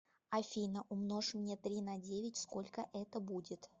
афина умножь мне три на девять сколько это будет